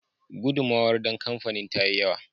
Gudunmawar don kamfain ta yi yawa.